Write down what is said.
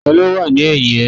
Ta ló wà ní ẹ̀yìn ẹ?